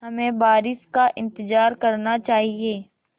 हमें बारिश का इंतज़ार करना चाहिए